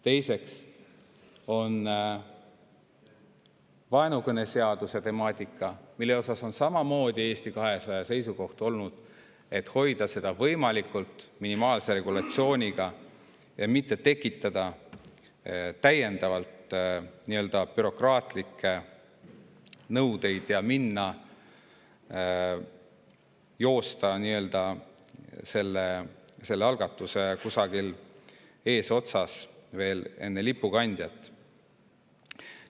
Teiseks on vaenukõneseaduse temaatika, milles on Eesti 200 seisukoht samamoodi olnud see, et tuleks hoida seda võimalikult minimaalse regulatsiooniga, mitte tekitada täiendavalt bürokraatlikke nõudeid ja joosta selle algatuse eesotsas isegi enne lipukandjat.